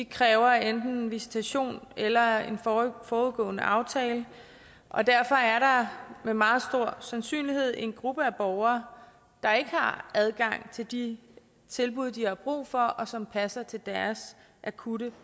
kræver enten visitation eller en forudgående aftale og derfor er der med meget stor sandsynlighed en gruppe af borgere der ikke har adgang til de tilbud de har brug for og som passer til deres akutte